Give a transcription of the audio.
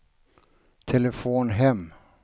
telefon hem